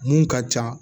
Mun ka ca